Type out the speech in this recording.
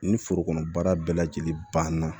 Ni forokɔnɔ baara bɛɛ lajɛlen banna